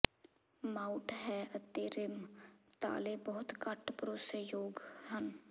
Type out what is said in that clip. mount ਹੈ ਅਤੇ rim ਤਾਲੇ ਬਹੁਤ ਘੱਟ ਭਰੋਸੇਯੋਗ ਹਨ